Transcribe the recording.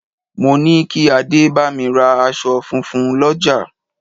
Mo ní kí adé bámi ra aṣọ funfun l'ọja